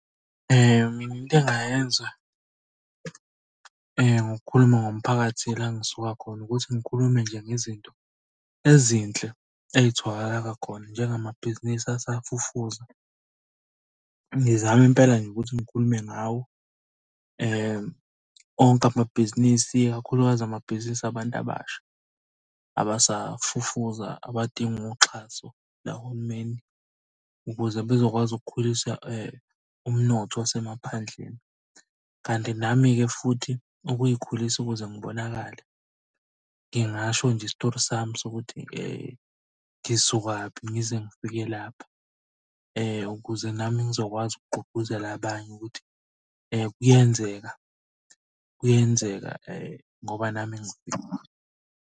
Mina into engingayenza, ngokukhuluma ngomphakathi la engisuka khona ukuthi ngikhulume nje ngezinto ezinhle ey'tholakala khona Njengamabhiz'nisi asafufusa. Ngizame impela nje ukuthi ngikhulume ngawo. Onke amabhizinisi, ikakhulukazi amabhizinisi abantu abasha abasafufuza abadinga uxhaso lahulumeni ukuze bezokwazi ukukhulisa umnotho wasemaphandleni. Kanti nami-ke futhi ukuy'khulisa ukuze ngibonakale. Ngingasho nje isitori sami sokuthi ngisuka kuphi ngize ngifike lapha, ukuze nami ngizokwazi ukugqugquzela abanye ukuthi kuyenzeka kuyenzeka ngoba nami.